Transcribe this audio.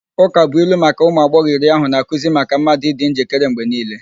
Ụkabụilu maka ụmụ agbọghọ iri ahụ na-akụzi maka mmadụ ịdị njikere mgbe niile.